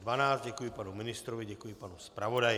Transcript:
Děkuji panu ministrovi, děkuji panu zpravodaji.